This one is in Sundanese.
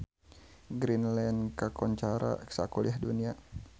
Greenland kakoncara sakuliah dunya